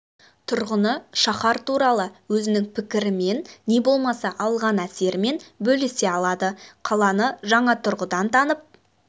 тұрғыны шаһар туралы өзінің пікірімен не болмаса алған әсерімен бөлісе алады қаланы жаңа тұрғыдан танып